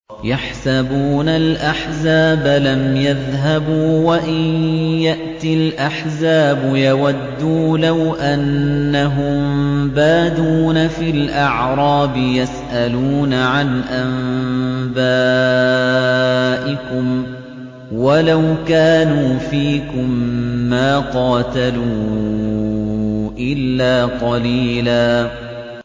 يَحْسَبُونَ الْأَحْزَابَ لَمْ يَذْهَبُوا ۖ وَإِن يَأْتِ الْأَحْزَابُ يَوَدُّوا لَوْ أَنَّهُم بَادُونَ فِي الْأَعْرَابِ يَسْأَلُونَ عَنْ أَنبَائِكُمْ ۖ وَلَوْ كَانُوا فِيكُم مَّا قَاتَلُوا إِلَّا قَلِيلًا